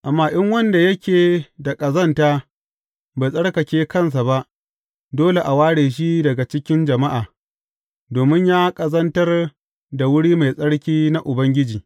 Amma in wanda yake da ƙazanta bai tsarkake kansa ba, dole a ware shi daga cikin jama’a, domin ya ƙazantar da wuri mai tsarki na Ubangiji.